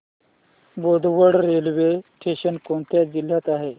Bodwad railway station कोणत्या जिल्ह्यात आहे